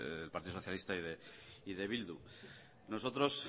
del partido socialista y de bildu nosotros